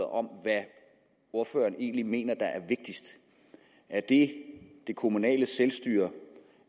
om hvad ordføreren egentlig mener er vigtigst er det det kommunale selvstyre